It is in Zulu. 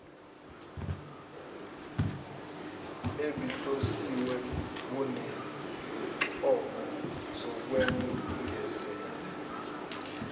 ebihlosiwe kunezincomo zokwengezela